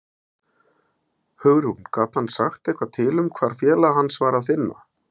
Hugrún: Gat hann sagt eitthvað til um hvar félaga hans var að finna?